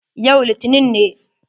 Yau litinin ne.